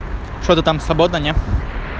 что ты там свободна нет